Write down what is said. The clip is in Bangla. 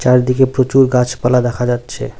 চারদিকে প্রচুর গাছপালা দেখা যাচ্ছে।